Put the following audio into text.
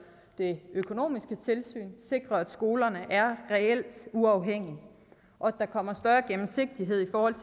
det økonomiske tilsyn sikrer at skolerne er reelt uafhængige og at der kommer større gennemsigtighed i forhold